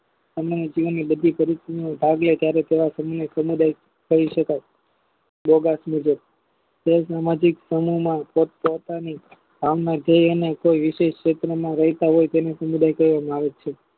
અને તેની બધી પરિસ્થિતિ ભવ્ય જયારે તેવા સમૂહની સમુદાય કહી શકાય બે બેટ મુજબ ભાવના જે અને તે વિશેષ સૂત્ર માં રહેતા હોય તેને સમુદાય કહેવામાં આવે છે